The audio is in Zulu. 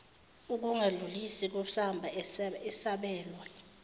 ukungadlulisi kusamba esabelwe